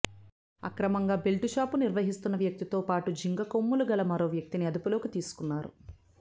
అక్రమంగా belt shop నిర్వహిస్తున్న వ్యక్తితో పాటు జింక కొమ్ములు గల మరో వ్యక్తిని అదుపులోకి తీసుకున్నారు